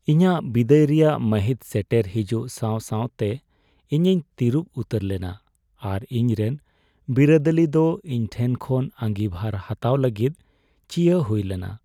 ᱤᱧᱟᱹᱜ ᱵᱤᱫᱟᱹᱭ ᱨᱮᱭᱟᱜ ᱢᱟᱹᱦᱤᱛ ᱥᱮᱴᱮᱨ ᱦᱤᱡᱩᱜ ᱥᱟᱶ ᱥᱟᱶᱛᱮ ᱤᱧᱤᱧ ᱛᱤᱨᱩᱵ ᱩᱛᱟᱹᱨ ᱞᱮᱱᱟ ᱟᱨ ᱤᱧᱨᱮᱱ ᱵᱤᱨᱟᱹᱫᱟᱹᱞᱤ ᱫᱚ ᱤᱧ ᱴᱷᱮᱱ ᱠᱷᱚᱱ ᱟᱸᱜᱤᱵᱷᱟᱨ ᱦᱟᱛᱟᱣ ᱞᱟᱹᱜᱤᱫ ᱪᱤᱭᱟᱹ ᱦᱩᱭ ᱞᱮᱱᱟ ᱾